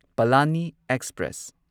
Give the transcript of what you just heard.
Palani express